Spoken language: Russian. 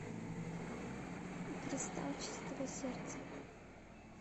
кристалл чистого сердца